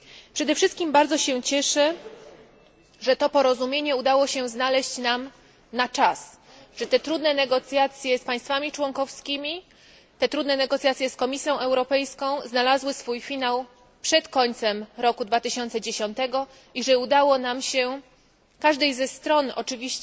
Przede wszystkim bardzo się cieszę, że to porozumienie udało się znaleźć nam na czas, że te trudne negocjacje z państwami członkowskimi i Komisją Europejską znalazły swój finał przed końcem roku 2010 i że udało się nam, każdej ze stron, która